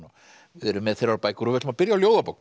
við erum með þrjár bækur og við ætlum að byrja á ljóðabók